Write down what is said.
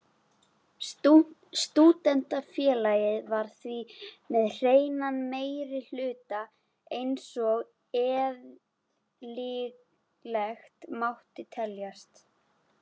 Stúdentafélagið var því með hreinan meirihluta einsog eðlilegt mátti teljast.